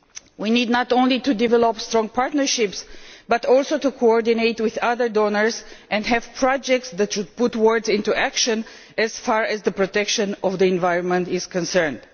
We need not only to develop strong partnerships, but also to coordinate with other donors and have projects that should put words into action as far as the protection of the environment is concerned.